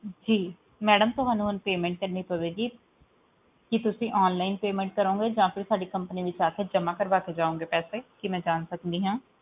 ਜੀ ਮੈਡਮ ਤੁਹਾਨੂੰ ਹੁਣ payment ਕਰਨੀ ਪਾਏਗੀ ਕੀ ਤੁਸੀਂ onlinepayment ਕਰੋਂਗੇ ਜਾ ਤੁਸੀਂ ਸਾਡੀ company ਵਿਚ ਆ ਕੇ ਜਮਾ ਕਰਵਾ ਕੇ ਜਾਓਗੇ ਪੈਸੇ ਕੀ ਮੈਂ ਜਾਂ ਸਕਦੀ ਆ